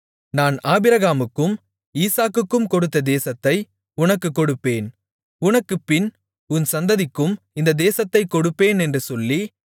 நான் ஆபிரகாமுக்கும் ஈசாக்குக்கும் கொடுத்த தேசத்தை உனக்குக் கொடுப்பேன் உனக்குப்பின் உன் சந்ததிக்கும் இந்த தேசத்தைக் கொடுப்பேன் என்று சொல்லி